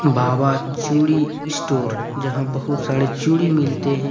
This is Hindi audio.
बाबा चूड़ी स्टोर जहां बहुत सारे चूड़ी मिलते हैं।